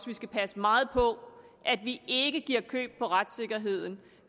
vi skal passe meget på at vi ikke giver køb på retssikkerheden